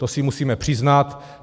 To si musíme přiznat.